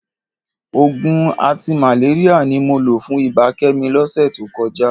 Òògùn antimalaria ni mo lò fún ibà Kẹ́mi lọ́sẹ̀ tó kọjá